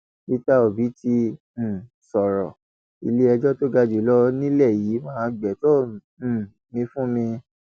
peter obi ti um sọrọ iléẹjọ tó ga jù lọ nílẹ yìí máa gbétò um mi fún mi